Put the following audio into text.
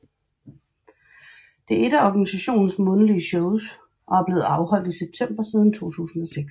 Det er ét af organisationens månedlige shows og er blevet afholdt i september siden 2006